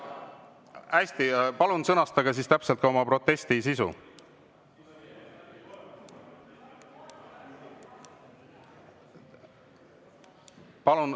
Hästi, palun sõnastage täpselt ka oma protesti sisu.